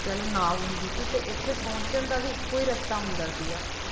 ਕਹਿ ਲੋ ਨਾਵ ਹੁੰਦੀ ਸੀ ਤੇ ਇੱਥੇ ਪਹੁੰਚਣ ਦਾ ਵੀ ਇੱਕੋ ਰਸਤਾ ਹੁੰਦਾ ਸੀਗਾ ਅੱਛਾ